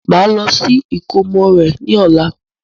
Màá lọ sí ìkómọ rẹ ní ọ̀la